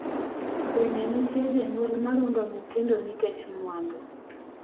bende nitie jonyuol ma rundo nyithindo nikech mwandu?